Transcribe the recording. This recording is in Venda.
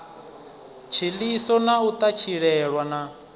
tshiḽiso na u ṱatshilelwa na